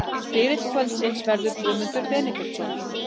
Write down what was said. Spyrill kvöldsins verður Guðmundur Benediktsson.